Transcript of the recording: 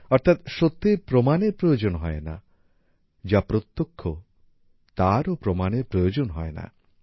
অর্থাৎ সত্যের প্রমাণের প্রয়োজন হয় না যা প্রত্যক্ষ তারও প্রমাণের প্রয়োজন হয় না